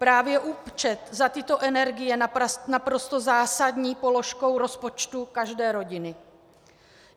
Právě účet za tyto energie je naprosto zásadní položkou rozpočtu každé rodiny.